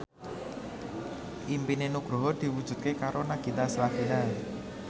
impine Nugroho diwujudke karo Nagita Slavina